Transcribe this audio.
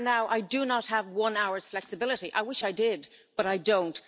But for now, I do not have one hour's flexibility I wish I did, but I don't.